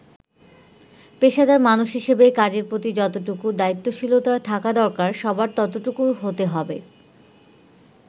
“পেশাদার মানুষ হিসেবে কাজের প্রতি যতটুকু দায়িত্বশীলতা থাকা দরকার সবার ততটুকু হতে হবে।